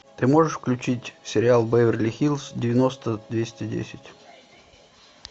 ты можешь включить сериал беверли хиллз девяносто двести десять